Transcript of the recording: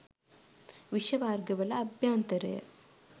විෂ වර්ග වල අභ්‍යන්තරය